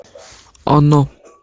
оно